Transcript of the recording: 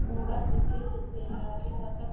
Hún verður fyrri til að rjúfa þögnina.